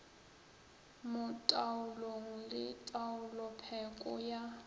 mo taolong le taolopheko ya